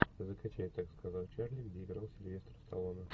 закачай так сказал чарли где играл сильвестр сталлоне